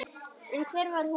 En hver var hún?